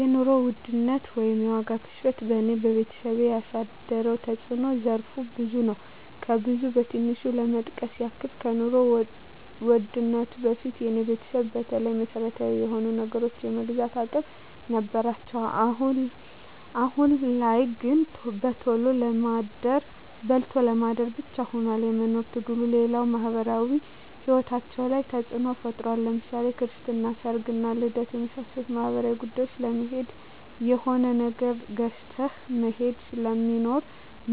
የኑሮ ውድነት ወይም የዋጋ ግሽበት በኔና በቤተሰቤ ያሳደረው ተጽኖ ዘርፈ ብዙ ነው። ከብዙ በትንሹ ለመጥቀስ ያክል ከኑሮ ውድነቱ በፊት የኔ ቤተሰብ በተለይ መሰረታዊ የሆኑ ነገሮችን የመግዛት አቅም ነበራቸው አሁን ላይ ግን በልቶ ለማደር ብቻ ሁኗል የመኖር ትግሉ፣ ሌላው ማህበራዊ ሂወታችን ላይ ተጽኖ ፈጥሯል ለምሳሌ ክርስትና፣ ሰርግና ልደት ከመሳሰሉት ማህበራዊ ጉዳዮች ለመሄድ የሆነ ነገር ገዝተህ መሄድ ስለሚኖር